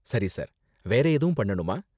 சரி, சார். வேற எதுவும் பண்ணனுமா?